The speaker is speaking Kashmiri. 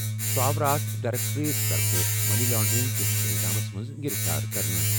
سُہ آو راتھ ڈائریکٹوریٹ طرفہٕ منی لانڈرنگ کِس الزامس منٛز گِرِفتار کرنہٕ۔